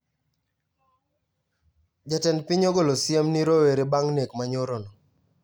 Jatend piny ogolo siem ni rowere bang` nek manyoro no